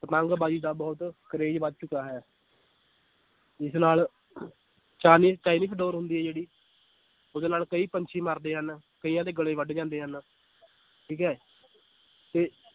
ਪਤੰਗਬਾਜ਼ੀ ਦਾ ਬਹੁਤ ਕਰੇਜ ਵੱਧ ਚੁੱਕਾ ਹੈ ਜਿਸ ਨਾਲ ਡੋਰ ਹੁੰਦੀ ਹੈ ਜਿਹੜੀ ਉਹਦੇ ਨਾਲ ਕਈ ਪੰਛੀ ਮਰਦੇ ਹਨ, ਕਈਆਂ ਦੇ ਗਲੇ ਵੱਡ ਜਾਂਦੇ ਹਨ ਠੀਕ ਹੈ ਤੇ